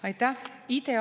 Aitäh!